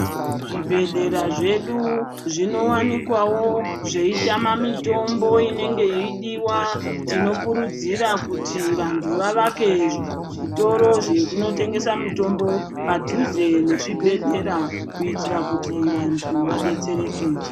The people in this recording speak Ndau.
Zvibhedhlera zvedu zvinowanikwawo zveitama mitombo inenge yeidiea tinokurudzirwa kuti vantu vavake zvitoro zvinenge zvichitengeswa mutombo mudhuze nemuzvibhedhlera kuti vantu vadetsereke.